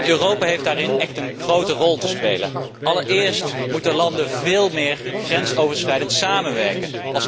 Europa heeft daarin echt een grote rol te spelen. Allereerst moeten landen veel meer grensoverschrijdend samenwerken.